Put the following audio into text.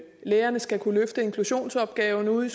lærerne skal kunne løfte inklusionsopgaven ude